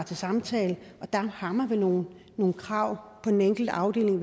til samtale og der har man vel nogle krav på den enkelte afdeling